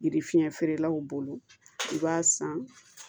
Yiri fiɲɛ feerelaw bolo i b'a san